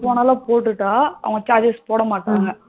எப்ப வேணாலும் போட்டுட்டா நமக்கு charge ஸ் போடா மாட்டங்க